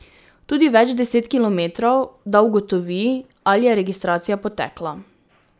Tudi več deset kilometrov, da ugotovi, ali je registracija potekla.